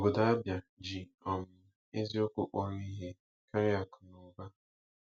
Obodo Abia ji um eziokwu kpọrọ ihe karịa akụ na ụba.